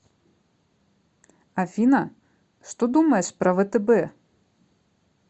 афина что думаешь про втб